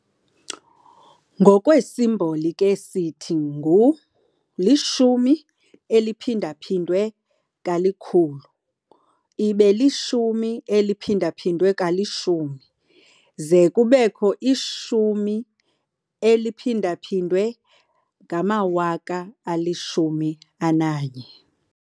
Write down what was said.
Ngokweesimboli ke sithi ngu- "10 × 100 10 × 10 × 10 1000".